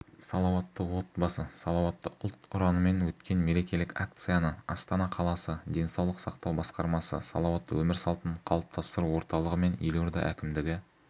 салауатты отбасы салауатты ұлт ұранымен өткен мерекелік акцияны астана қаласы денсаулық сақтау басқармасы салауатты өмір салтын қалыптастыру орталығы мен елорда әкімдігі